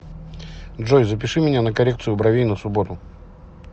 джой запиши меня на коррекцию бровей на субботу